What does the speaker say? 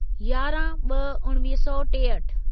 यारहं ब॒ उणिवीह सौ टेहठि